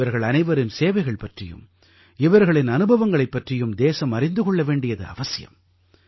இவர்கள் அனைவரின் சேவைகள் பற்றியும் இவர்களின் அனுபவங்கள் பற்றியும் தேசம் அறிந்து கொள்ள வேண்டியது அவசியம்